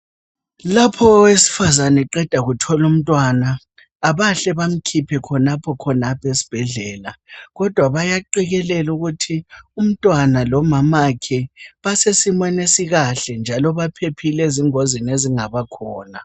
Lapha owesifazana eqeda kuthola umntwana abahle bamkhiphe khonapho khonapho esibhedlela kodwa bayaqekelela ukuthi umntwana lomamakhe basesimeni esikahle njalo ezingozini ezingabakhona.